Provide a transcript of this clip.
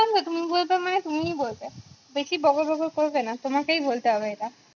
তুমি বলছো মানে তুমিই বলবে বেশি বকর বকর করবে না তোমাকেই বলতে হবে এটা